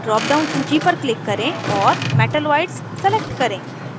drop down सूची पर click करें और metalloids select करें